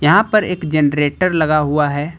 यहां पर एक जनरेटर लगा हुआ है।